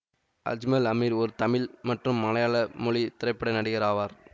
அஜ்மல் அமீர் ஒரு தமிழ் மற்றும் மலையாள மொழி திரைப்பட நடிகர் ஆவார்